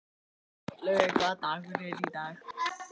Laugey, hvaða dagur er í dag?